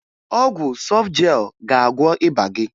Ọgwụ Sọfjel ga-agwọ ịba gị